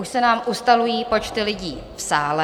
Už se nám ustalují počty lidí v sále.